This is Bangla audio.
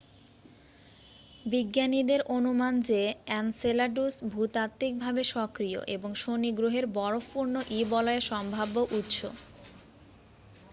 বিজ্ঞানীদের অনুমান যে এনসেলাডুস ভূতাত্বিকভাবে সক্রিয় এবং শনি গ্রহের বরফপূর্ণ ই-বলয়ের সম্ভাব্য উৎস